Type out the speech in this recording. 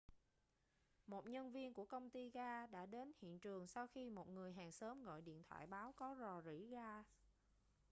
một nhân viên của công ty gas đã đến hiện trường sau khi một người hàng xóm gọi điện thoại báo có rò rỉ gas